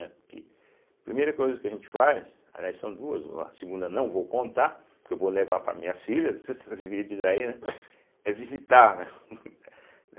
Primeira coisa que a gente faz, aliás, são duas, a segunda não vou contar, porque eu vou levar para minhas filhas esses vídeos aí, né, é visitar, né.